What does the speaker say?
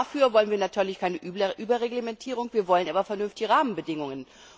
Dafür wollen wir natürlich keine Überreglementierung, wir wollen aber vernünftige Rahmenbedingungen.